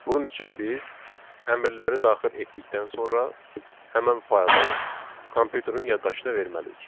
Bunun üçün biz əmrləri daxil etdikdən sonra həmin faylı kompyuterin yaddaşına verməliyik.